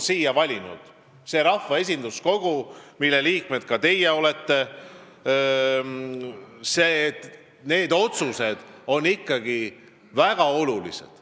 Ka teie olete rahva esinduskogu liikmed ja tema otsused on ikkagi väga olulised.